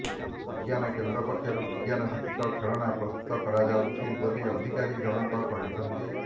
ବିଜ୍ଞାନ କେନ୍ଦ୍ର ପକ୍ଷରୁ ବିଜ୍ଞାନଭିତ୍ତିକ ଖେଳଣା ପ୍ରସ୍ତୁତ କରାଯାଉଛି ବୋଲି ଅଧିକାରୀଜଣଙ୍କ କହିଛନ୍ତି